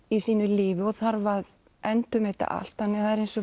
í sínu lífi og þarf að endurmeta allt þannig að það er eins og